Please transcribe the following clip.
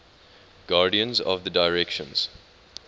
guardians of the directions